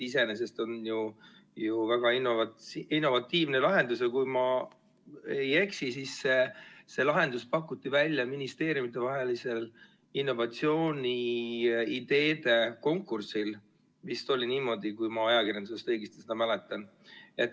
Iseenesest on see ju väga innovatiivne lahendus, ja kui ma ei eksi, siis see lahendus pakuti välja ministeeriumidevahelisel innovatsiooniideede konkursil – vist oli niimoodi see nimetus, nagu ma ajakirjandusest mäletan.